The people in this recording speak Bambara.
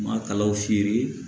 Ma kalaw feere